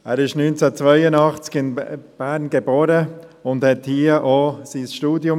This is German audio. Er wurde 1982 in Bern geboren und absolvierte hier auch sein Studium.